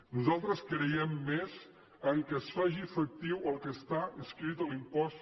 nosaltres creiem més en el fet que es faci efectiu el que està escrit a l’impost